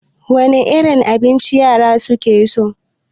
Wane irin abinci yara su ke so?